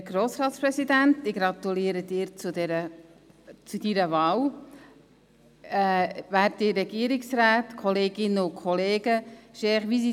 Herr Grossratspräsident, ich gratuliere Ihnen, zu Ihrer Wahl.